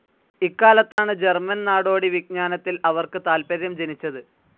ഇക്കാലത്താണ് German നാടോടി വിജ്ഞാനത്തിൽ അവർക്ക് താത്പര്യം ജനിച്ചത്.